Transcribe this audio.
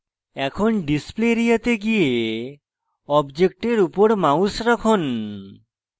এখন display area go go অবজেক্টের উপর mouse রাখুন